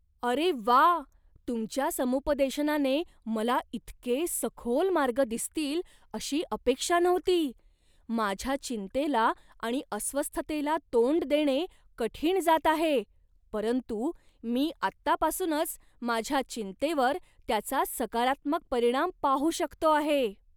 अरे वा, तुमच्या समुपदेशनाने मला इतके सखोल मार्ग दिसतील अशी अपेक्षा नव्हती! माझ्या चिंतेला आणि अस्वस्थतेला तोंड देणे कठीण जात आहे, परंतु मी आत्तापासूनच माझ्या चिंतेवर त्याचा सकारात्मक परिणाम पाहू शकतो आहे.